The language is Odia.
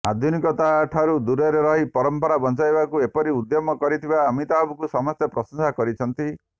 ଆଧୁନିକତାଠାରୁ ଦୂରରେ ରହି ପରମ୍ପରାକୁ ବଞ୍ଚାଇବାକୁ ଏପରି ଉଦ୍ୟମ କରିଥିବା ଅମିତାଭଙ୍କୁ ସମସ୍ତେ ପ୍ରଶଂସା କରିଛନ୍ତି